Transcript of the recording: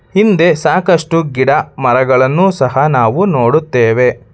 ಹಿಂದೆ ಸಾಕಷ್ಟು ಗಿಡ ಮರಗಳನ್ನು ಸಹ ನಾವು ನೋಡುತ್ತೇವೆ.